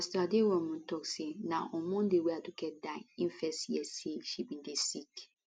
pastor aderounmu tok say na on monday wey aduke die im first hear say she bin dey sick